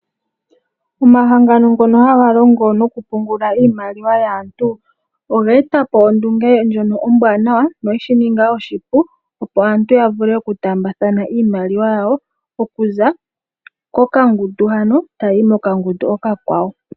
Omahangano ngono haga longo nokupungula iimaliwa yaantu, oge e tapo ondunge ndyono ombwaanawa noye shininga oshipu opo aantu yavule okutaambathana iimaliwa yawo, okuza kokangundu hano, tayiyi mokangundu okakwawo.